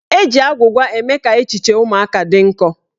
Eji agwụgwa eme ka echiche ụmụaka dị nkọ.